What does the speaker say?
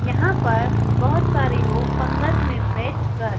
यहां पर बहोत सारे लोग पंगत में बैठ कर--